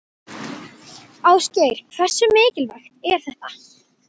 Ásgeir: Hversu mikilvægt er þetta?